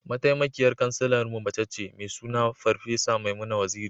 Mataimakiyar Kansilarmu mace ce, mai suna Farfesa Maimuna Waziri.